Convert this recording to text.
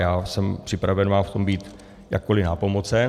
Já jsem připraven vám v tom být jakkoli nápomocen.